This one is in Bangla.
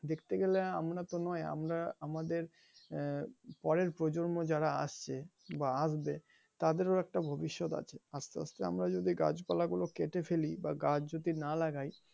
দেখতে গেলে আমরাতো নয় আমরা আমাদের আহ পরের প্রজন্ম যারা আসছে বা আসবে তাদেরও একটা ভবিষ্যৎ আছে আসতে আসতে আমরা যদি গাছপালা গুলো কেটে ফেলি বা গাছ যদি না লাগাই,